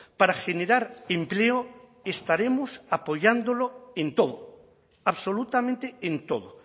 para generar empleo estaremos apoyándolo en todo absolutamente en todo